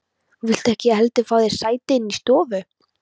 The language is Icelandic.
Viltu ekki heldur fá þér sæti inni í stofu?